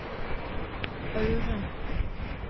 Aure